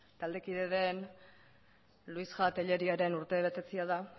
taldekide den luisja telleríaren urtebetetzea da